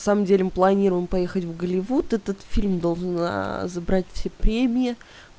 самом деле мы планируем поехать в голливуд этот фильм должен забрать все премии